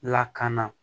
Lakana